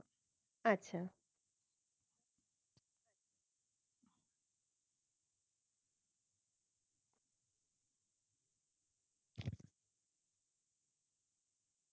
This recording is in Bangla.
আচ্ছা